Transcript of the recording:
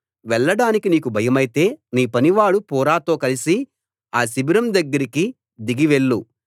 వెళ్ళడానికి నీకు భయమైతే నీ పనివాడు పూరాతో కలిసి ఆ శిబిరం దగ్గరికి దిగి వెళ్ళు